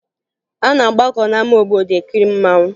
A na-agbakọ n'ama obodo ekiri mmanwụ